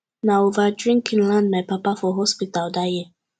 na over drinking land my papa for hospital dat year